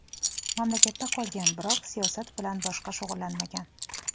Mamlakatda qolgan, biroq siyosat bilan boshqa shug‘ullanmagan.